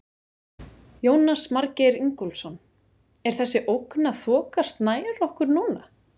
Jónas Margeir Ingólfsson: Er þessi ógn að þokast nær okkur núna?